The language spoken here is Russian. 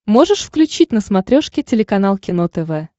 можешь включить на смотрешке телеканал кино тв